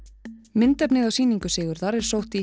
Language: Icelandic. myndefnið á sýningu Sigurðar er sótt í